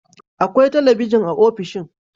Akwai talabijin a ofishin